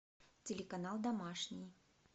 телеканал домашний